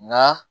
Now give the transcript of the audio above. Nka